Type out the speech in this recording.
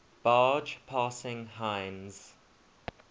barge passing heinz